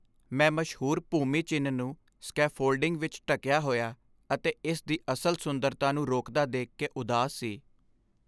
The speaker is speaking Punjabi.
ਮੈਂ ਮਸ਼ਹੂਰ ਭੂਮੀ ਚਿੰਨ੍ਹ ਨੂੰ ਸਕੈਫੋਲਡਿੰਗ ਵਿੱਚ ਢੱਕਿਆ ਹੋਇਆ ਅਤੇ ਇਸ ਦੀ ਅਸਲ ਸੁੰਦਰਤਾ ਨੂੰ ਰੋਕਦਾ ਦੇਖ ਕੇ ਉਦਾਸ ਸੀ।